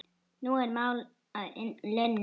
Nú er mál að linni.